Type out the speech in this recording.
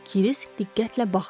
Krisk diqqətlə baxdı.